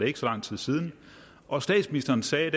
ikke så lang tid siden og statsministeren sagde